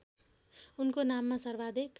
उनको नाममा सर्वाधिक